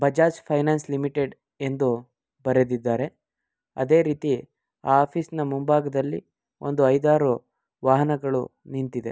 Bajaj finance limited ಎಂದು ಬರೆದಿದ್ದಾರೆ ಅದೆ ರೀತಿ ಆ ಆಫೀಸ್ ನ ಮುಂಬಾಗದಲ್ಲಿ ಒಂದು ಐದಾರು ವಾಹನಗಳು ನಿಂತಿದೆ.